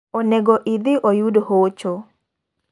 Onego idhi oyud hocho.